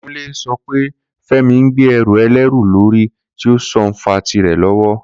Kunle ń sọ pé Femi ń gbé ẹrù ẹlẹ́rù lórí tí ó so ń fa tìrẹ lọ́wọ́.